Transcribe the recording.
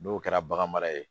N'o kɛra bagan mara ye